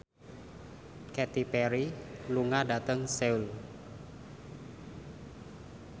Katy Perry lunga dhateng Seoul